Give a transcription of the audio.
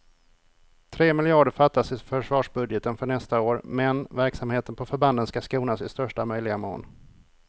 Tre miljarder fattas i försvarsbudgeten för nästa år, men verksamheten på förbanden ska skonas i största möjliga mån.